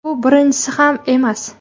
Bu birinchisi ham emas.